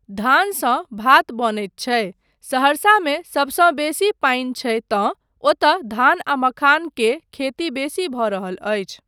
धानसँ भात बनैत छै, सहरसामे सबसँ बेसी पानि छै तँ ओतय धान आ मखान के खेती बेसी भऽ रहल अछि।